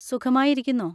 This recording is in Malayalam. സുഖമായിരിക്കുന്നോ?